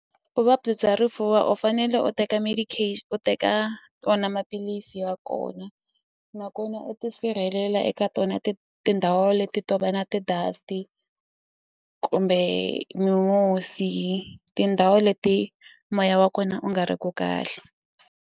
Vuvabyi bya rifuva u fanele u teka u teka wona maphilisi ya kona nakona u tisirhelela eka tona tindhawu leti to va na ti dust kumbe mimusi tindhawu leti moya wa kona u nga ri ku kahle.